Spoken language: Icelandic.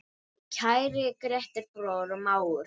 Kæri Grétar, bróðir og mágur.